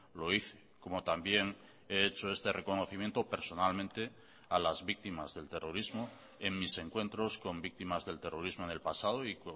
lo hice como también he hecho este reconocimiento personalmente a las víctimas del terrorismo en mis encuentros con víctimas del terrorismo en el pasado y